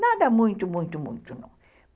Nada muito, muito, muito, não.